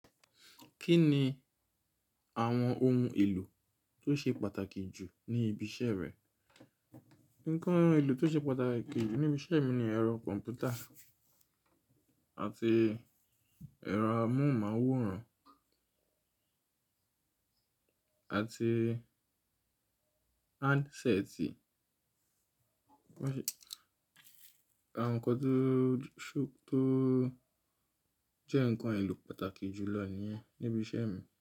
Kí ni àwọn ohun èlò tó ṣe pàtàkì jù ní ibi iṣẹ́ rẹ? Ǹkan èlò tó ṣe pàtàkì jù níbi iṣẹ́ mi ni ẹ̀rọ kọ̀m̀pútà àti ẹ̀rọ amóhùnmáwòrán àti handset. Àwọn nǹkan tó ṣò tó jẹ́ ǹkan èlò pàtàkì jù lọ nìyẹn níbi iṣẹ́ mi.